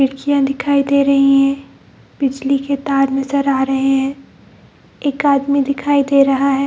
खिड़कियाँ दिखाई दे रहे हैं बिजली के तार नजर आ रहे हैं एक आदमी दिखाई दे रहा है।